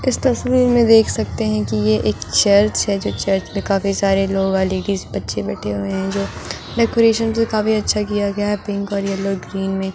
इस तसवीर में देख सकते है कि ये एक चर्च है जो चर्च में काफ़ी सारे लॉयल्टी बच्चे बैठे हुए है जो डेकोरेशन भी काफ़ी अच्छा किया गया है पिंक और येलो ग्रीन में --